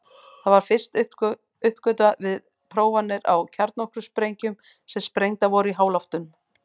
Það var fyrst uppgötvað við prófanir á kjarnorkusprengjum sem sprengdar voru í háloftum.